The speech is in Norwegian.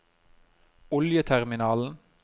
oljeterminalen